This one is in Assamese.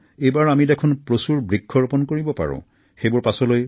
আমি এইবাৰ অভিলেখসংখ্যক গছপুলি ৰোপনৰ এক লক্ষ্য স্থিৰ কৰিব পাৰো